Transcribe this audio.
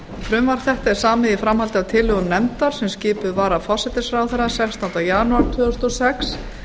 frumvarp þetta er samið í framhaldi af tillögum nefndar sem skipuð var af forsætisráðherra sextánda janúar tvö þúsund og sex